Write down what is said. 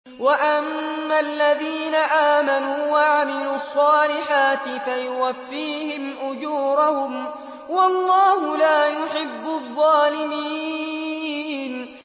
وَأَمَّا الَّذِينَ آمَنُوا وَعَمِلُوا الصَّالِحَاتِ فَيُوَفِّيهِمْ أُجُورَهُمْ ۗ وَاللَّهُ لَا يُحِبُّ الظَّالِمِينَ